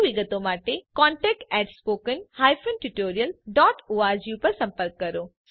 વધુ વિગતો માટે contactspoken tutorialorg પર સંપર્ક કરો